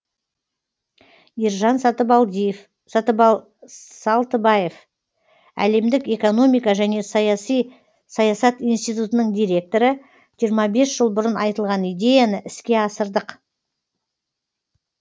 ержан салтыбаев әлемдік экономика және саясат институтының директоры жиырма бес жыл бұрын айтылған идеяны іске асырдық